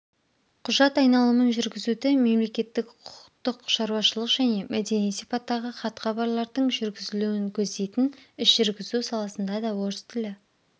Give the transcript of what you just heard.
құжат айналымын жүргізуді мемлекеттік құқықтық шарауашылық және мәдени сипаттағы хат-хабарлардың жүргізілуін көздейтін іс жүргізу саласында да орыс тілі